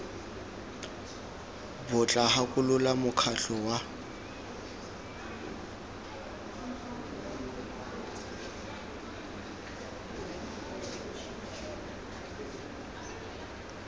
bo tla gakolola mokgatlho wa